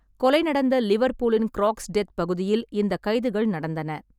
கொலை நடந்த லிவர்பூலின் க்ரோக்ஸ்டெத் பகுதியில் இந்த கைதுகள் நடந்தன.